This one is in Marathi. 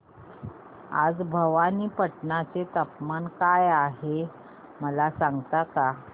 आज भवानीपटना चे तापमान काय आहे मला सांगता का